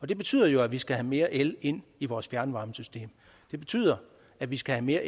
det betyder jo at vi skal have mere el ind i vores fjernvarmesystem det betyder at vi skal have mere